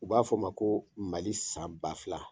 U b'a fɔ a ma ko mali san ba fila.